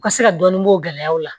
U ka se ka dɔɔni b'o gɛlɛyaw la